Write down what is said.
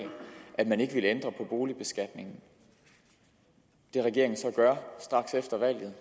at man ikke ville ændre på boligbeskatningen det regeringen så gør straks efter valget